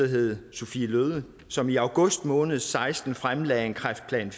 hed sophie løhde som i august måned seksten fremlagde en kræftplan